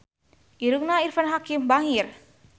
Irungna Irfan Hakim bangir